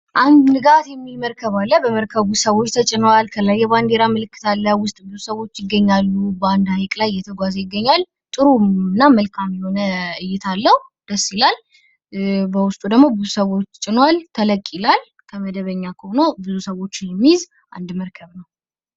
አንድ ንጋት የሚል መርከብ አለ። በመርከቡ ሰዎች ተጭነዋል። ከላይ የባንድራ ምልክ አለው ውስጥ ላይ ብዙ ሰዎች አሉ። በአንድ ሀይቅ ላይ እየተጓዘ ይገኛል። ጥሩና መልካም የሆነ እይታ አለው ደስ ይላል በውስጡ ደግሞ ብዙ ሰዎች ጭኗል ተለቅ ይላል። ከመደበኛ ከሆነው ብዙ ሰዎችን የሚይዝ አንድ መርከብ ነው።